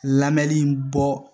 Lamɛnni bɔ